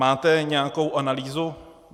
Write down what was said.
Máte nějakou analýzu?